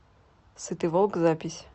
сытый волк запись